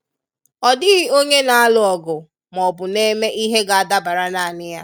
Ọ dịghị onye nalụ ọgụ ma ọbụ neme ihe ga adabara nanị ya.